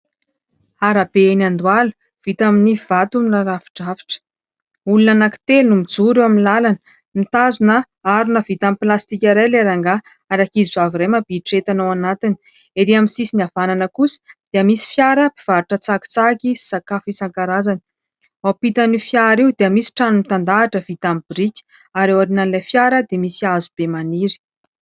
Arabe eny Andohalo vita amin'ny vato narafidrafitra. Olona anankitelo no mijoro amin'ny làlana. Mitazona harona vita amin'ny pilastika iray ilay rangahy ary ankizy vavy iray mampiditra entana ao anatiny. Ery amin'ny sisiny havanana kosa dia misy fiara mpivarotra tsakitsaky sy sakafo isan-karazany. Eo ampitan'io fiara io dia misy trano mitan-dahatra vita amin'ny biriky ary eo aorian'ilay fiara dia misy hazo be maniry.